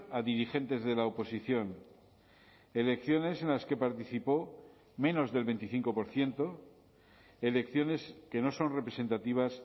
a dirigentes de la oposición elecciones en las que participó menos del veinticinco por ciento elecciones que no son representativas